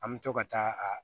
An bɛ to ka taa a